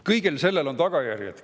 Kõigel sellel on tagajärjed.